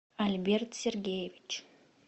альберт сергеевич